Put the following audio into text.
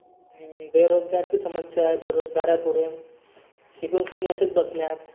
बेरोजगारची समस्या आहे आता. बेरोजगार आहे शिकुन सनी असेच बसल्यात.